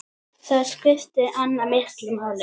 Þar skipti Anna miklu máli.